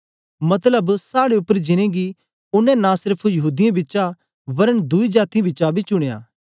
मतलब साड़े उपर जिनेंगी ओनें नां सेर्फ यहूदीयें बिचा वरन दुई जातीयें बिचा बी चुनयां